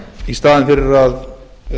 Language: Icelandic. í staðinn fyrir að